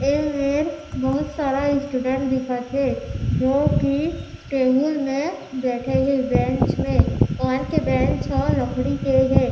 ए मेर बहुत सारा स्टूडेंट देखत हे जो की टेबल मे बईथे हे बेंच मे ओमन के बेंच ह लकड़ी के हे।